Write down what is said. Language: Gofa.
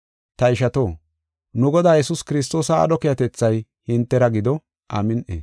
Ta ishato, nu Godaa Yesuus Kiristoosa aadho keehatethay hintera gido. Amin7i.